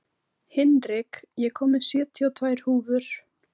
Hinrik, ég kom með sjötíu og tvær húfur!